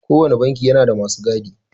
Kowanne banki yana da masu gadi.